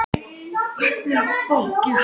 Oft enda slíkar hátíðir með ósköpum.